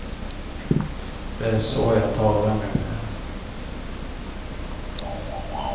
Det är så jag talar numera.